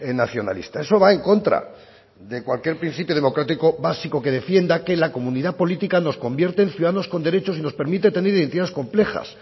nacionalista eso va en contra de cualquier principio democrático básico que defienda que la comunidad política nos convierte en ciudadanos con derechos y nos permite tener identidades complejas